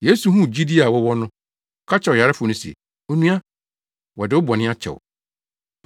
Yesu huu gyidi a wɔwɔ no, ɔka kyerɛɛ ɔyarefo no se, “Onua, wɔde wo bɔne akyɛ wo.”